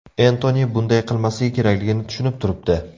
Entoni bunday qilmasligi kerakligini tushunib turibdi.